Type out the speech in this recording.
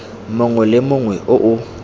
mongwe le mongwe o o